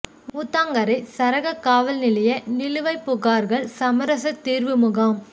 ஊத்தங்கரை சரக காவல் நிலைய நிலுவைப் புகார்கள் சமரச தீர்வு முகாம்